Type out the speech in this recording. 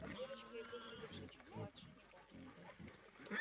а с девочкой выглядевшей чуть младше него